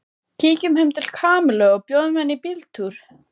Kíkjum heim til Kamillu og bjóðum henni í bíltúr